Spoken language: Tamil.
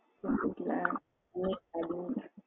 மே பதினைச்சு